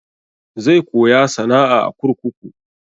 Zai koya sana'a a kurkuku.